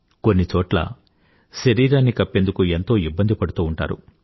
కొన్నిచోట్ల శరీరాన్ని కప్పేందుకు ఎంతో ఇబ్బంది పడుతూ ఉంటారు